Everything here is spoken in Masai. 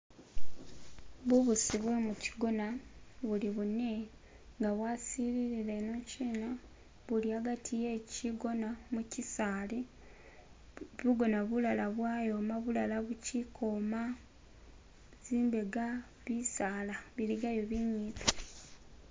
Bubusi bwe mukyigona buli bunne nga bwasilire enokyina, buli agati we kyigona mu kyisaali, bugoona bulara bwayoma bulara bukyili kwoma zimbeega bisaala biligaayo ibimpi